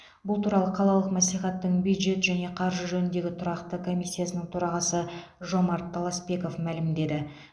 бұл туралы қалалық мәслихаттың бюджет және қаржы жөніндегі тұрақты комиссиясының төрағасы жомарт таласпеков мәлімдеді